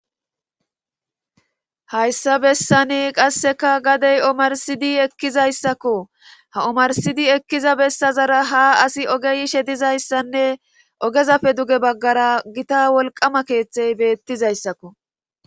hayssa bessani qasseka gadey omarsidi ekkizayssakko ha omarsidi ekkiza bessazara ha asi ogeyishe dizayssanne ogezafe duge baggara gita wolqama keeththey beettizayssakko